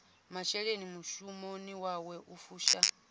masheleni mushumoni wawe u fusha